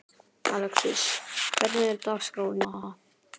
Alexis, hvernig er dagskráin í dag?